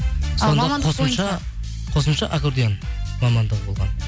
қосымша аккардион мамандығы болған